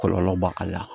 Kɔlɔlɔ b'a ka